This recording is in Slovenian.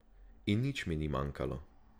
In nič mi ni manjkalo.